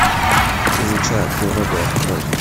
изучая природу открой